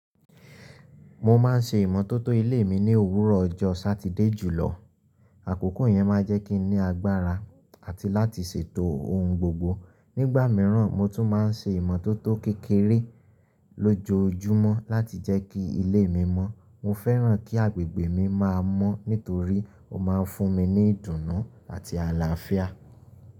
Mo ma n ṣe ìmọ́tótó ilé mi ní òwúrọ̀ ọjọ́ Sátidé julọ. Àkókò yẹn ma jẹ́ kí n ní agbára àti láti ṣètò ohun gbogbo. Nígbà mìíràn, mo tún ma n ṣe ìmọ́tótó kékeré lójoojúmọ́ láti jẹ́ kí ilé mi mọ́. Mo fẹ́ràn kí agbègbè mi má a mọ́ nítorí ó ma n fún mi ní ìdùnnú àti àlàáfíà.